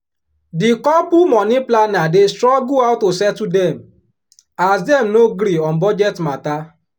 di couple money planner dey struggle how to settle them as dem no gree on budget matter.